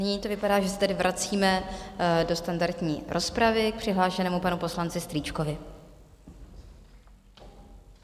Nyní to vypadá, že se tedy vracíme do standardní rozpravy k přihlášenému panu poslanci Strýčkovi.